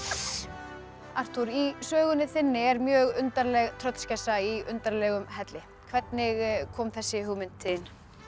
uss Arthúr í sögunni þinni er mjög undarleg tröllskessa í undarlegum helli hvernig kom þessi hugmynd til